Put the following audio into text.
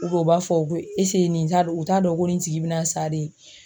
u b'a fɔ ko nin t'a dɔn u t'a dɔn ko nin tigi bɛna sa de